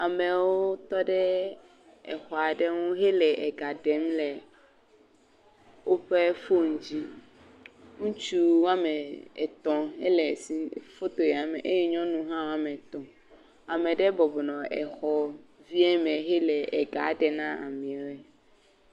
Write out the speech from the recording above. Amewo tɔ ɖe exɔ aɖe ŋu hele ega ɖem le woƒe foni dzi. Ŋutsu wɔme etɔ̃ ele si foto ya me eye nyɔnu hã ame etɔ̃. Ame aɖe bɔbɔnɔ exɔ vi m hele ega ɖem na ameawoe.